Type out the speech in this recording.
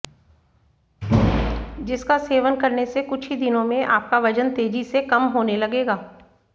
जिसका सेवन करने से कुछ ही दिनों में आपका वजन तेजी से कम होने लगेगा